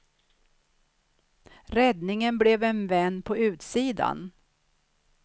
Räddningen blev en vän på utsidan.